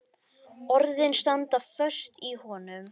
Orðin standa föst í honum.